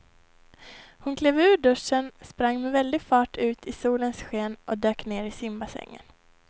Hon klev ur duschen, sprang med väldig fart ut i solens sken och dök ner i simbassängen.